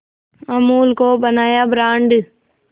अमूल को बनाया ब्रांड